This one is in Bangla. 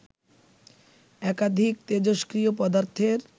একাধিক তেজস্ক্রিয় পদার্থের